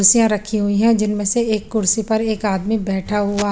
कुर्सिया रखी हुयी हे जिनमे से एक कुर्सी पर एक आदमी बेठा हुआ --